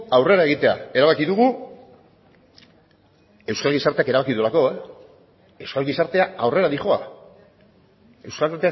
aurrera egitea erabaki dugu euskal gizarteak erabaki duelako euskal gizartea aurrera doa euskal